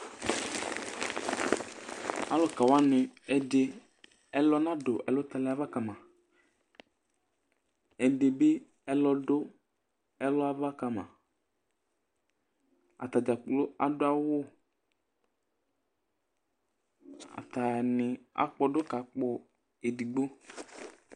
Alʋka wanɩ ɛdɩ ɛlʋ nadʋ ɛlʋtalɩ ava ka ma Ɛdɩ bɩ ɛlɔ dʋ ɛlʋ ava ka ma Ata dza kplo adʋ awʋ Atanɩ akpɔdʋ kakpɔ edigbo